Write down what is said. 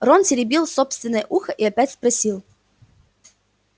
рон потеребил собственное ухо и опять спросил